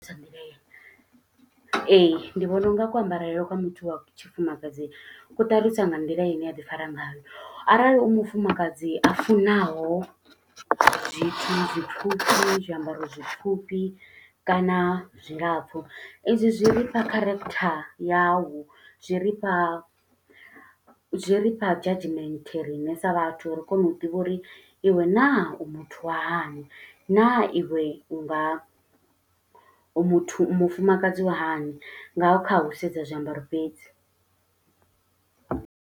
Nga nḓila heyo. Ee, ndi vhona u nga ku ambarele kwa muthu wa tshifumakadzi, ku ṱalusa nga nḓila ine aḓi fara ngayo. Arali u mufumakadzi a funaho zwithu zwipfufhi, zwiambaro zwipfufhi kana zwilapfu. I zwi zwi rifha character yau, zwi rifha zwi rifha judgement riṋe sa vhathu, uri ri kone u ḓivha uri iwe naa u muthu wa hani, naa iwe u nga u muthu u mufumakadzi wa hani, nga kha u sedza zwiambaro fhedzi.